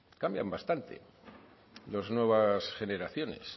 cambian bastante las nuevas generaciones